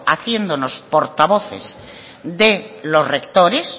haciéndonos portavoces de los rectores